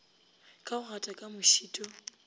ka go gata ka mošito